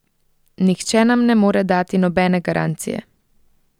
Nihče nam ne more dati nobene garancije.